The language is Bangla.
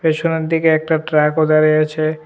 পেছনের দিকে একটা ট্রাকও দাঁড়ায়ে আছে।